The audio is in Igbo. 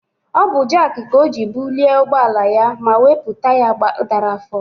Ọ bụ jak ka o ji bulie ụgbọ ala ya ma wepụ taya dara afọ.